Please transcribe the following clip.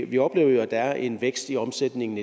vi oplever jo at der er en vækst i omsætningen